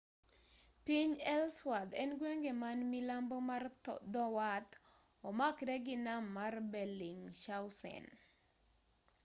piny ellsworth en gwenge man milambo mar dho wath omakre gi nam mar bellingshausen